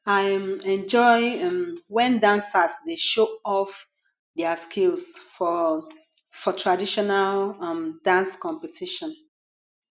i um enjoy um wen dancers dey show off their skill for for traditional um dance competition